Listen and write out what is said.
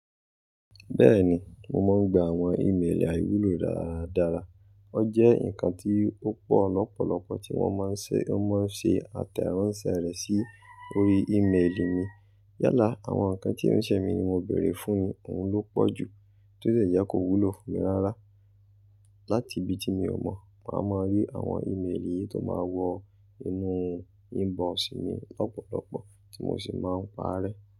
Bẹ́ẹ̀ni, mo máa ń gba àwọn ìméèlì àìwúlò dára dára. O jẹ́ ǹkan tí ó pọ̀ lọ́pọ̀lọpọ̀ tí wọ́n máa ń ṣe, wọ́n máa ń ṣe àtẹ̀ránsẹ́ rẹ̀ sí orí ìméèlì mi. Yálà, àwọn ǹkan tí e ṣẹ́ mi ni mo béèrè fún ni ohun ló pọ̀jù tó de jẹ́ kó wúlò fún mi ráárá. Láti ibi tí mi ò mọ̀, màá máa rí àwọn ìméèlì yi tó máa wọ inú inbox mi lọ́pọ̀lọpọ̀ tí mo sì máa ń parẹ́.